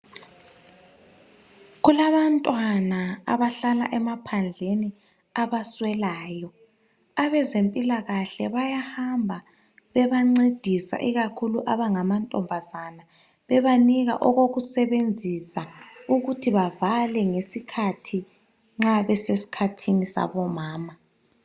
Kulabantwana abahlala emaphandleni abaswelayo abezempilakahle bayahamba bebancedisa ikakhulu abangamantombazana bebanika okokusebenzisa ukuthi bavale ngesikhathi nxa besesikhathini sabo mama.